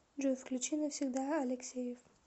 джой включи навсегда алексеев